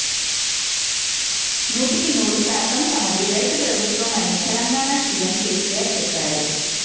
నూటికి నూరు శాతం తమది రైతు ప్రభుత్వమని తెలంగాణ సీఎం కేసీఆర్ చెప్పారు